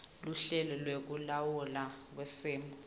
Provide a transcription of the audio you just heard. luhlelo lwekulawulwa kwesimo